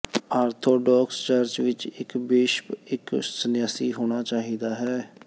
orthodox church ਵਿੱਚ ਇੱਕ bishop ਇੱਕ ਸੰਨਿਆਸੀ ਹੋਣਾ ਚਾਹੀਦਾ ਹੈ